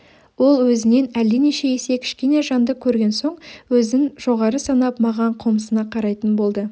ол өзінен әлденеше есе кішкене жанды көрген соң өзін жоғары санап маған қомсына қарайтын болды